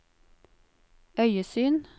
øyesyn